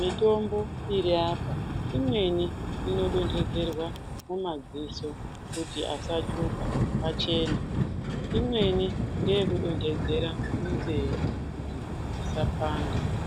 Mitombo iri apa imweni inodonherwa mumadziso kuti asatsvuka achene, imweni ndeyeku donhedzera munzee kuti isapanda.